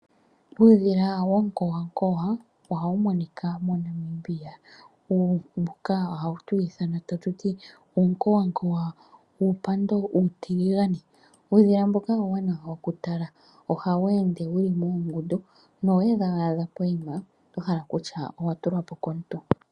Uudhila wonkowankowa ohawu monika moNamibia ,mbuka ohatu wu iithana tatu tii uunkowankowa wuumpando uutiligane. Uudhila mboka uuwanawa okutala ,ohawu ende wuli moongundu na owewadha poima oto hala okutya owa tulwa po komuntu.